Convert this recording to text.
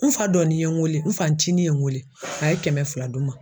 N fa dɔ nin ye n wele n fa ncinin ye n wele a ye kɛmɛ fila di n ma